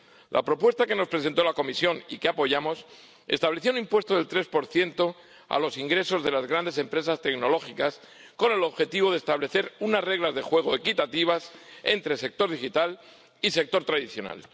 La propuesta que nos presentó la Comisión —y que apoyamos— estableció un impuesto del 3 a los ingresos de las grandes empresas tecnológicas, con el objetivo de establecer unas reglas de juego equitativas entre el sector digital y el sector tradicional.